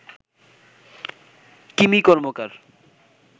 Kimi Karmakar